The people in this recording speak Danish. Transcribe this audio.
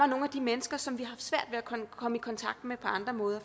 nogle af de mennesker som vi at komme i kontakt med på andre måder